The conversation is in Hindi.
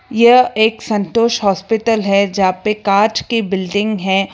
यह एक संतोष हॉस्पिटल है जहां पे कांच की बिल्डिंग है।